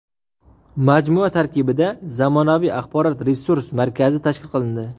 Majmua tarkibida zamonaviy axborot-resurs markazi tashkil qilindi.